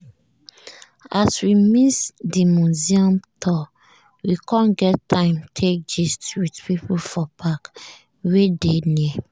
as we miss di museum tour we com get time take gist with people for park wey dey near.